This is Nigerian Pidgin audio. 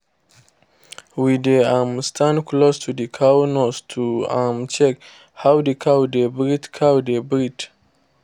we dey um stand close to the cow nose to um check how the cow dey breathe cow dey breathe